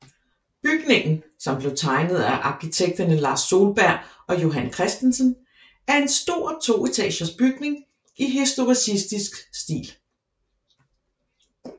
Bygningen som blev tegnet af arkitekterne Lars Solberg og Johan Christensen og er en stor toetagers bygning i historicistisk stil